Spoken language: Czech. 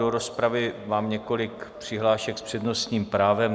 Do rozpravy mám několik přihlášek s přednostním právem.